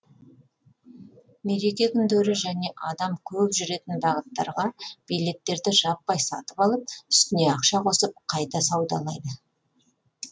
мереке күндері және адам көп жүретін бағыттарға билеттерді жаппай сатып алып үстіне ақша қосып қайта саудалайды